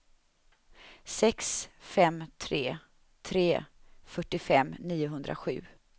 sex fem tre tre fyrtiofem niohundrasju